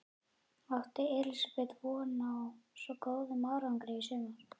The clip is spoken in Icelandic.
Átti Elísabet von á svo góðum árangri í sumar?